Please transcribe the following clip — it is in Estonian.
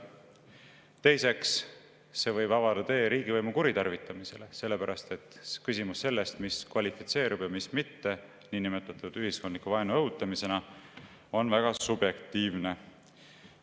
Teiseks võib see avada tee riigivõimu kuritarvitamisele, sellepärast et küsimus sellest, mis kvalifitseerub ja mis mitte niinimetatud ühiskondliku vaenu õhutamise alla, on väga subjektiivne.